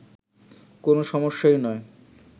কোন সমস্যাই নয়